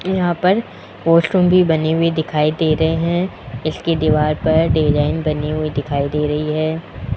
यहां पर वॉशरूम भी बनी हुई दिखाई दे रहे हैं इसकी दीवार पर डिजाइन बनी हुई दिखाई दे रही है।